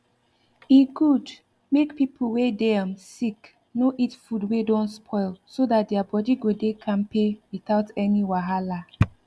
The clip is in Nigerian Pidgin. e good make people wey dey um sick no eat food wey don spoil so that their body go dey kampe without any wahala